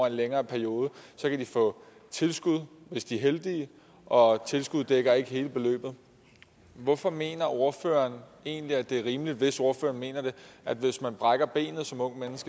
en længere periode kan de få tilskud hvis de er heldige og tilskud dækker ikke hele beløbet hvorfor mener ordføreren egentlig at det er rimeligt hvis ordføreren mener det at hvis man brækker benet som ungt